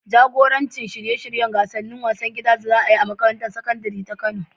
Jagoranci shirye-shiryen gasar wasannin gida da za a yi a makarantar sakandare ta Kano.